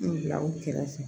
N bila u kɛrɛfɛ